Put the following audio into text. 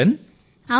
Varshaben